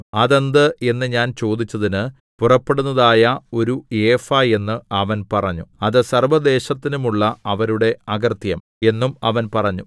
അതെന്ത് എന്നു ഞാൻ ചോദിച്ചതിന് പുറപ്പെടുന്നതായ ഒരു ഏഫാ എന്ന് അവൻ പറഞ്ഞു അത് സർവ്വദേശത്തിലും ഉള്ള അവരുടെ അകൃത്യം എന്നും അവൻ പറഞ്ഞു